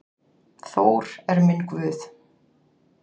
Þór er minn guð.